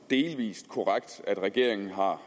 delvis korrekt at regeringen har